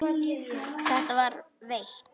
Var það veitt.